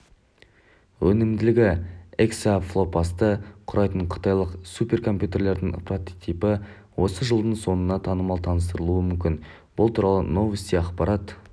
өнімділігі эксафлопсты құрайтын қытайлық суперкомпьютердің прототипі осы жылдың соңына таман таныстырылуы мүмкін бұл туралы новости ақпарат